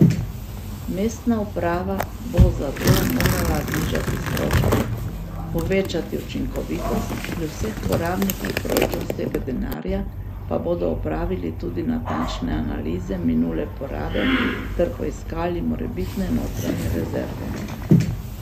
Mestna uprava bo zato morala znižati stroške, povečati učinkovitost, pri vseh uporabnikih proračunskega denarja pa bodo opravili tudi natančne analize minule porabe ter poiskali morebitne notranje rezerve.